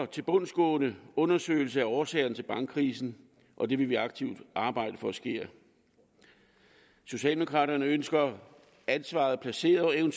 tilbundsgående undersøgelse af årsagerne til bankkrisen og det vil vi aktivt arbejde for sker socialdemokraterne ønsker ansvaret placeret og en